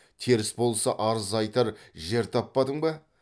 теріс болса арыз айтар жер таппадың ба